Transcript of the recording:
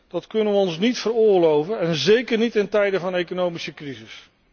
Dat kunnen we ons niet veroorloven en zéker niet in tijden van economische crisis.